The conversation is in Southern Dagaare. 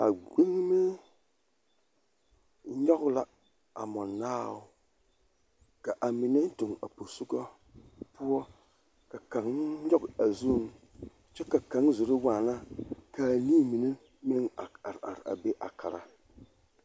A ɡbeɡeme nyɔɡe la a mɔnaao ka a mine doɡe a posoɡa poɔ ka kaŋ nyɔɡe a zuiŋ kyɛ ka kaŋ zoro waana ka a nii mine meŋ are are a be a kara.